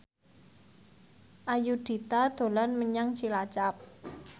Ayudhita dolan menyang Cilacap